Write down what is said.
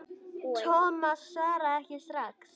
Thomas svaraði ekki strax.